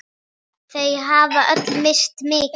Þau hafa öll misst mikið.